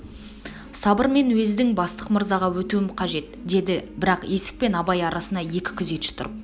сабыр мен уездің бастық мырзаға өтуім қажет деді бірақ есік пен абай арасына екі күзетші тұрып